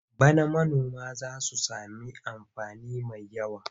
Bana manoma za su sami amfani mai yawa.